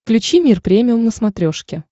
включи мир премиум на смотрешке